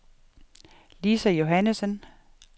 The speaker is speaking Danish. Lisa Johannessen